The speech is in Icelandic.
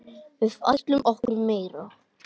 Við ætlum okkur meira.